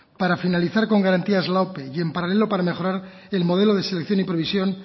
para finalizar con garantía la ope y en paralelo para mejorar el modelo de selección y provisión